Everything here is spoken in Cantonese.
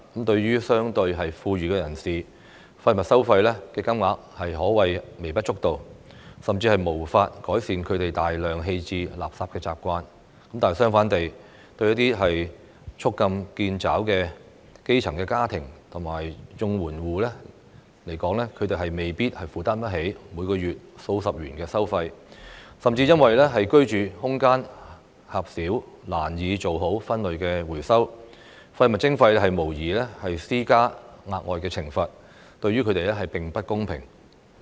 對於相對富裕的人士，廢物收費的金額可謂微不足道，甚至無法改善他們大量棄置垃圾的習慣，但相反地，對捉襟見肘的基層家庭和綜援戶來說，他們未必負擔得起每個月數十元的收費，甚至因為居住空間狹小難以做好分類回收，廢物徵費無異於施加額外懲罰，對他們並不公平。